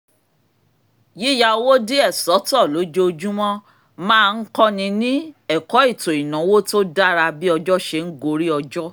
yíyá owó díẹ̀ sọ́tọ̀ lójoojúmọ́ máa ń kọ́ni ní ẹ̀kọ́ ètò ìnáwó tó dára bí ọjọ́ ṣe ń gorí ọjọ́